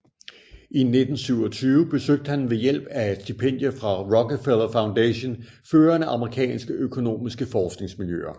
I 1927 besøgte han ved hjælp af et stipendium fra Rockefeller Foundation førende amerikanske økonomiske forskningsmiljøer